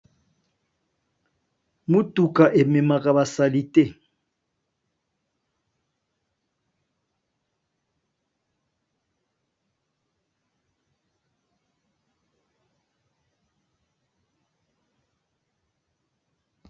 Motuka e memaka ba saalités .